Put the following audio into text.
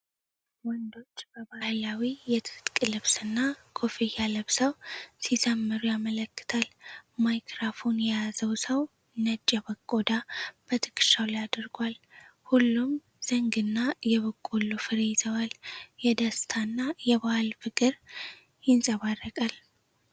ወንዶች በባህላዊ የትጥቅ ልብስና ኮፍያ ለብሰው ሲዘምሩ ያመለክታል። ማይክራፎን የያዘው ሰው ነጭ የበግ ቆዳ በትከሻው ላይ አድርጓል። ሁሉም ዘንግና የበቆሎ ፍሬ ይዘዋል፤ የደስታና የባህል ፍቅር ይንጸባረቃል።